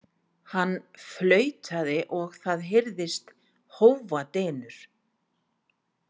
Hann flautaði og það heyrðist hófadynur.